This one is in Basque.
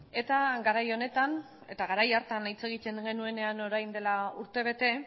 eta garai honetan eta garai hartan hitz egiten genuenean orain dela urtebete